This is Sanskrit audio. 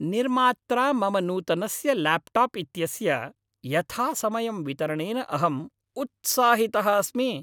निर्मात्रा मम नूतनस्य ल्याप्टाप् इत्यस्य यथासमयं वितरणेन अहम् उत्साहितः अस्मि।